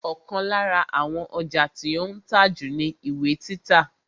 Ọ̀kan lára àwọn ọjà tí ó ń tà jù ni ìwé títa